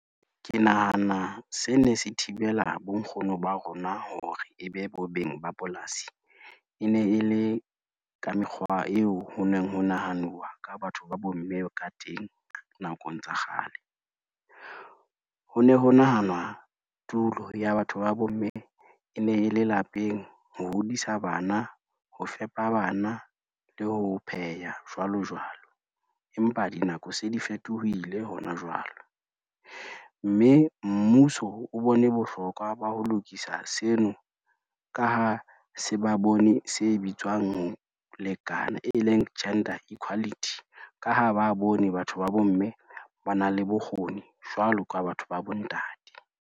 Ke nahana se ne se thibela bonkgono ba rona hore e be bo beng ba polasi, e ne e le ka mekgwa eo ho neng ho nahanuwa ka batho ba bomme ka teng nakong tsa kgale. Ho ne ho nahanwa tulo ya batho ba bomme e ne e le lapeng ho hodisa bana, ho fepa bana le ho pheha jwalo jwalo, empa dinako se di fetohile hona jwalo, mme mmuso o bone bohlokwa ba ho lokisa seno ka ha se ba bone se bitswang ho lekana e leng gender equality, ka ha ba bone batho ba bomme ba na le bokgoni jwalo ka batho ba bontate.